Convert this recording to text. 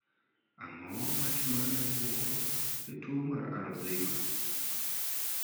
Ang'o matimore ne obuongo e tuo mar 'Alzheimers'?